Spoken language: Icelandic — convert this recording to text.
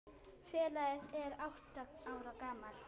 Félagið er átta ára gamalt.